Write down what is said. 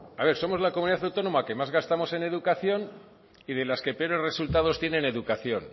a ver somos la comunidad autónoma que más gastamos en educación y de las que peores resultados tiene en educación